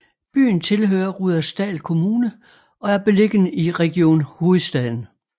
Byen tilhører Rudersdal Kommune og er beliggende i Region Hovedstaden